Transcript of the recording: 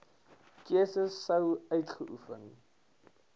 keuse sou uitgeoefen